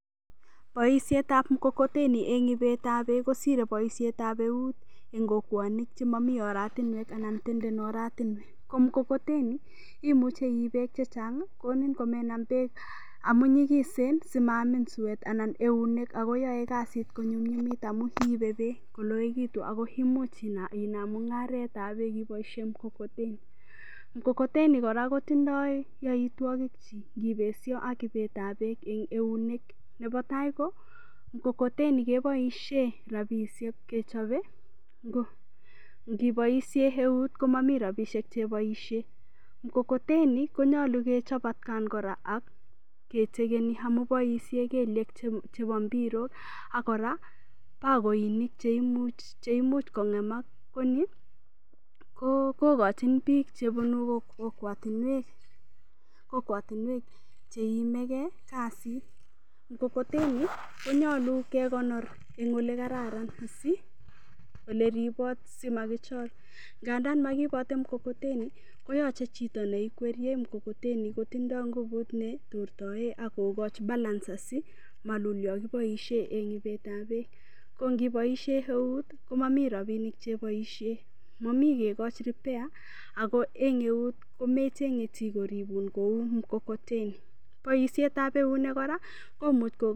Boishetab mkokoteni eng' ibetab beek kosirei boishetab eut eng' kokwonik chemamo oratinwek anan tenden oratinwek ko mkokoteni imuchei iib beek chechang'konin komenam beek amu nyigisen simaamin suwet anan eunek akoyoei kasit konyumnyimit amun iibe beek koloikitu ako imuch inaam mung'aretab beek iboishe mkokoteni mkokoteni kora kotindoi yoitwokik chi ngibesho ak ibetab beek eng' eunek nebo tai ko mkokoteni keboishe rapishek kechobei ngiboishe eut komamii rapishek cheboishe mkokoteni konyolu kechop atkan kora akechekeni amu boishe kelyek chebo mpirok akora bakoinik cheimuch kong'emak ko ni kokochin biik chebunu kokwotinwek cheiimegei kasit mkokoteni konyolu kekonor eng' ole kararan oleribot asimakichor nganda makiibotei mkokoteni koyochei chito neikweryei mkokoteni kotindoi ngubut netortoe akokoch balances malul yo kiboishe eng' ibetab beek kongoboishe eut komamii rapinik cheiboishe momi kekoch repair ako eng' eut komechenye chi koribun kou mkokoteni